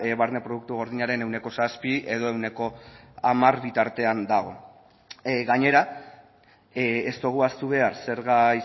barne produktu gordinaren ehuneko zazpihamar bitartean dago gainera ez dugu ahaztu behar zerga